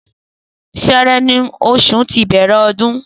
Sẹẹrẹ ni osun ti o bẹrẹ ọdún